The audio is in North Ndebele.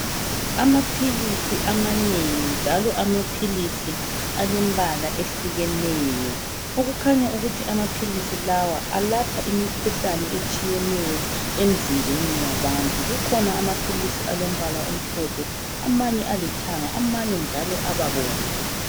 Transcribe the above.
Amaphilisi amanengi njalo amaphilisi alembala ehlukeneyo , okukhanya ukuthi amaphilisi lawa alapha imikhuhlane etshiyeneyo emzimbeni yabantu kukhona amaphilisi alombala omhlophe amanye alithanga , amanye njalo ababomvu